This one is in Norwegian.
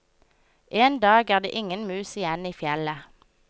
En dag er det ingen mus igjen i fjellet.